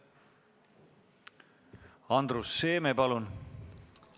Andrus Seeme, palun!